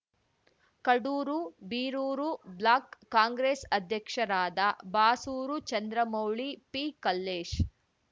Kadur Birur block Congress ಅಧ್ಯಕ್ಷರಾದ ಬಾಸೂರು ಚಂದ್ರಮೌಳಿ ಪಿಕಲ್ಲೇಶ್‌